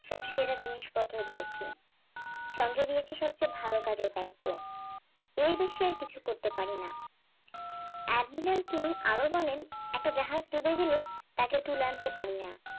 সব সেরা জিনিস পত্র দিয়েছি সঙ্গে দিয়েছি সবচেয়ে ভালো কাজের দায়িত্ব এই বিশ্বের কিছু করতে পারিনা এডমিনাল কিং আরো বলেন একটা জাহাজ ডুবে গেলে তাকে তুলে আনতে পারিনা